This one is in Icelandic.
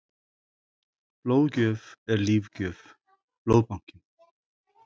Blóðgjöf er lífgjöf- Blóðbankinn.